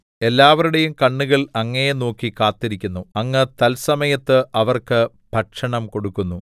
എല്ലാവരുടെയും കണ്ണുകൾ അങ്ങയെ നോക്കി കാത്തിരിക്കുന്നു അങ്ങ് തത്സമയത്ത് അവർക്ക് ഭക്ഷണം കൊടുക്കുന്നു